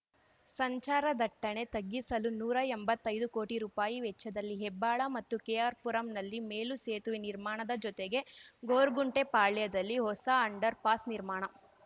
ಸಂಚಾರ ದಟ್ಟಣೆ ತಗ್ಗಿಸಲು ನೂರಾ ಎಂಬತ್ತೈದು ಕೋಟಿ ರೂಪಾಯಿ ವೆಚ್ಚದಲ್ಲಿ ಹೆಬ್ಬಾಳ ಮತ್ತು ಕೆಆರ್ಪುರಂ ನಲ್ಲಿ ಮೇಲು ಸೇತುವೆ ನಿರ್ಮಾಣದ ಜೊತೆಗೆ ಗೊರ್ಗುಂಟೆ ಪಾಳ್ಯದಲ್ಲಿ ಹೊಸ ಅಂಡರ್ ಪಾಸ್ ನಿರ್ಮಾಣ